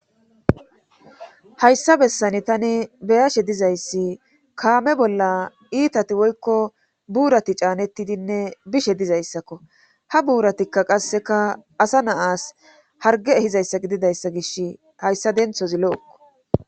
Hayssa bessani tani beyashe dizayssi kaame bolla iitati woykko buurati caanettidinne bishe dizayssakko ha buuratikka qasseka asa naas harge ehizayssa gididayssa gishi hayssa denthozi lo'okko